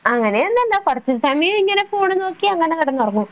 അങ്ങനെ ഒന്നുല്ല കൊറച്ചു സമയം ഇങ്ങനെ ഫോൺ നോക്കി അങ്ങനെ കിടന്നുറങ്ങും